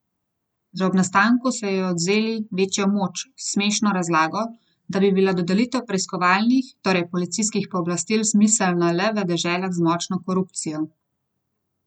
Za to je primerna oljna redkev.